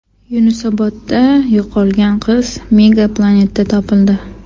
Yunusobodda yo‘qolgan qiz Mega Planet’dan topildi.